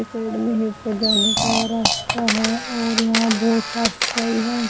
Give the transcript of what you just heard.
Side में ही ऊपर जाने का रास्ता है और यहां बहोत साफ सफाई है।